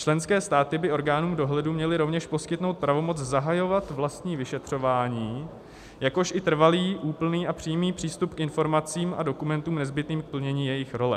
Členské státy by orgánům dohledu měly rovněž poskytnout pravomoc zahajovat vlastní vyšetřování, jakož i trvalý, úplný a přímý přístup k informacím a dokumentům nezbytným k plnění jejich role."